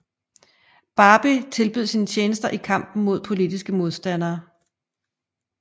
Barbie tilbød sine tjenester i kampen mod politiske modstandere